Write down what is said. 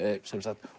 sem sagt